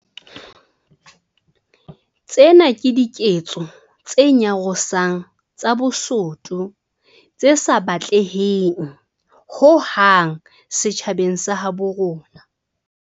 Tsena ke diketso tse nyarosang tsa bosoto tse sa batleheng ho hang setjhabeng sa habo rona.